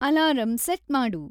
alarm set ಮಾಡು